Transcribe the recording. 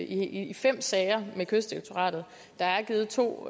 i fem sager med kystdirektoratet og der er givet to